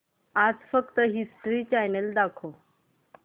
आज फक्त history channel दाखव